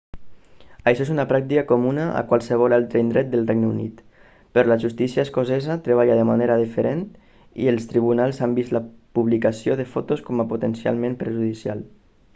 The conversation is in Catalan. això és una pràctica comuna a qualsevol altre indret del regne unit però la justícia escocesa treballa de manera diferent i els tribunals han vist la publicació de fotos com a potencialment perjudicial